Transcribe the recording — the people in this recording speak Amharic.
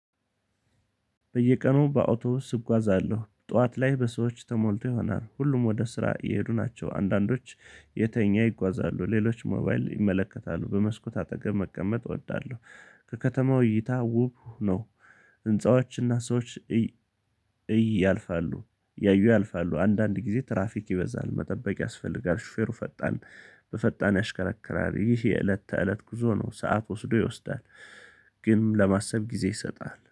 በየቀኑ በአውቶብስ እጓዛለሁ ጠዋት ላይ በሰዎች ተሞልቶ ይሆናል ሁሉም ወደ ስራ እየሄዱ ናቸው አንዳንዶች እየተኙ ይጓዛሉ ሌሎች ሞባይል ይመለከታሉ በመስኮት አጠገብ መቀመጥ እወዳለሁ። የከተማው እይታ ውብ ነው። ህንፃዎችና ሰዎች እይ እይ ያልፋሉ እያዩ ያልፋሉ አንዳንድ ጊዜ ትራፊክ ይበዛል መጠበቅ ያስፈልጋል። ሹፌሩ ፈጣን በፈጣን ያሽከረክራል ይህ የእለት ተእለት ጉዞ ነው። ሰዓት ወስዶ ይወስዳል። ግን ለማሰብ ጊዜ ይሰጣል